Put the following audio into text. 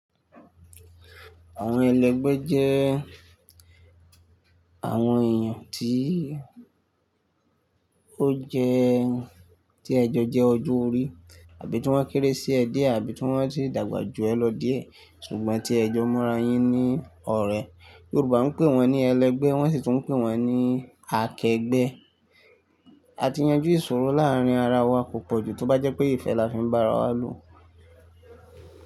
Àwọn ẹlẹgbẹ́ jẹ́ àwọn èèyàn tí ó jẹ́, tí ẹjọ́ jẹ́ ojú orí àbí tí wọ́n kéré sí ẹ dé àbí tí wọ́n ti dàgbà ju ẹ lọ díẹ̀ ṣùgbọ́n tí ẹjọ́ múra yín ní ọ̀rẹ́. Yorùbá ń pè wọ́n ní ẹlẹgbẹ́, wọ́n sì tún ń pè wọ́n ní akẹgbẹ́. A ti yanjú ìṣòro láàárín ara wa kọ̀ pojù tó bá jẹ́ pé ìfẹ́ la fi ń bá ara wa lò.